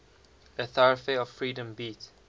a thoroughfare of freedom beat